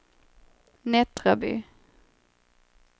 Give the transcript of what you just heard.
Nättraby